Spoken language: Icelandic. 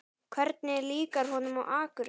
Hvernig líkar honum á Akureyri?